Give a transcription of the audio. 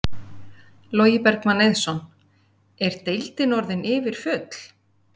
Logi Bergmann Eiðsson: Er deildin orðin yfirfull?